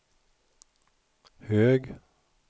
hög